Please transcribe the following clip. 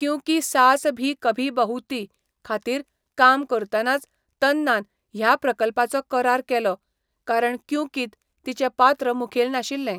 क्युंकी सास भी कभी बहु थी' खातीर काम करतनाच तन्नान ह्या प्रकल्पाचो करार केलो, कारण क्युंकींत तिचें पात्र मुखेल नाशिल्लें.